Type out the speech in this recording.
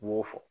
I b'o fɔ